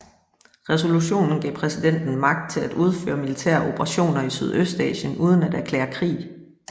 Resolutionen gav præsidenten magt til at udføre militære operationer i Sydøstasien uden at erklære krig